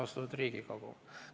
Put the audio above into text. Austatud Riigikogu!